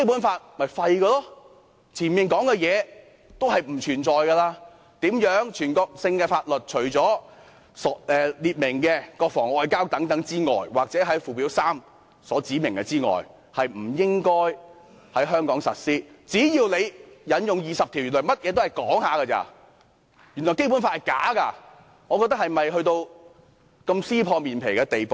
之前的條文皆沒有意義了，全國性的法律除列明的國防和外交，又或在附件三所指明的之外，不應在香港實施，但只要你引用第二十條，原來甚麼也是說說而已，原來《基本法》是假的，是否要到如此撕破臉皮的地步呢？